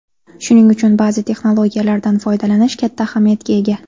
Shuning uchun ba’zi texnologiyalardan foydalanish katta ahamiyatga ega.